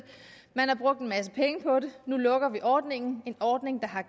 man har brugt en masse penge på det nu lukker vi ordningen en ordning der har